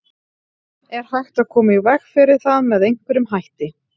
Er hægt að koma í veg fyrir það með einhverjum hætti?